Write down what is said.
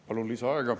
Palun lisaaega.